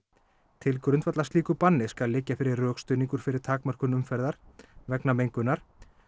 til grundvallar slíku banni skal liggja fyrir rökstuðningur fyrir takmörkun umferðar vegna mengunar